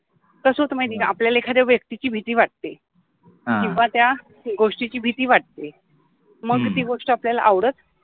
कस होते माहिति आहे का आपल्याला एखाद्या व्यक्तिचि भिति वाटते, किव्वा त्या गोष्टी चि भिति वाटते, मनुन ति गोष्ट आपल्याला आवडत